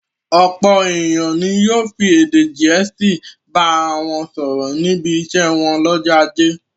Ọ̀pọ̀ ènìyàn ni yóò fi èdè Gẹ̀ẹ́sì bá ara wọn sọ̀rọ̀ níbi iṣẹ́ wọn lọ́jọ́ ajé.